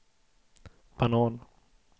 banan